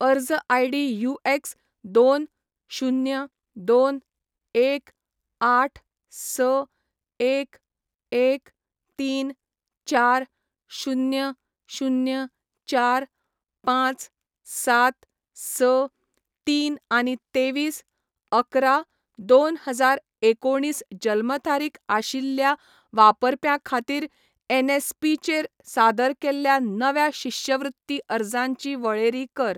अर्ज ID UX दोन, शुन्य, दोन, एक, आठ, स, एक, एक, तीन, चार, शुन्य, शुन्य, चार, पांच, सात, स, तीन आनी तेवीस, अकरा, दोन हजार एकोणीस जल्म तारीखआशिल्ल्या वापरप्यां खातीर एनएसपी चेर सादर केल्ल्या नव्या शिश्यवृत्ती अर्जांची वळेरी कर